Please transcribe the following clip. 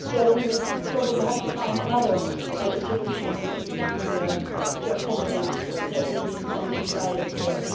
So we will probably have to find another solution to accommodate the needs and the desires there.